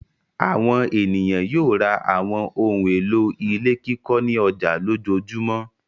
Àwọn ènìyàn yóò ra àwọn ohun-èlò ilé kíkọ́ ní ọjà lójoojúmọ́.